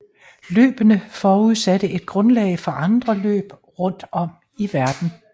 Løbene forudsatte et grundlag for andre løb rundt om i verden